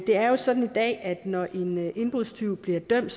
det er jo sådan i dag at når en indbrudstyv bliver dømt